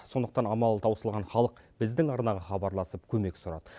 сондықтан амалы таусылған халық біздің арнаға хабарласып көмек сұрады